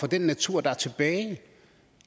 den natur der er tilbage